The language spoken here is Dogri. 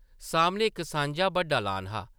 सामनै इक सांझा बड्डा लॉन हा ।